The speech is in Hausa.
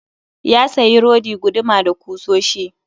Ya sayi rodi, guduma da kusoshi